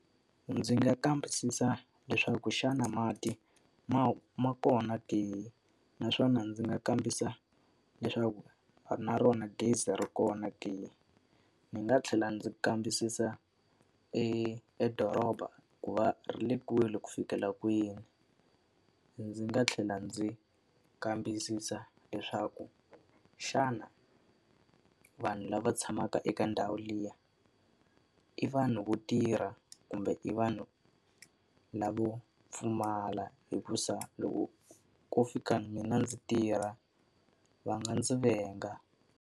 Ndzi nga kambisisa leswaku xana mati ma ma kona ke? Naswona ndzi nga kambisisa leswaku na rona gezi ri kona ke? Ndzi nga tlhela ndzi kambisisa edoroba ku va ri le kule ku fikela kwini? Ndzi nga tlhela ndzi kambisisa leswaku xana vanhu lava tshamaka eka ndhawu liya, i vanhu vo tirha kumbe i vanhu lavo pfumala? Hikuva loko ko fika mina ndzi tirha, va nga ndzi venga.